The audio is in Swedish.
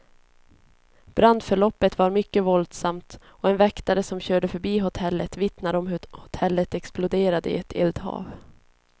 Brandförloppet var mycket våldsamt, och en väktare som körde förbi hotellet vittnar om hur hotellet exploderade i ett eldhav.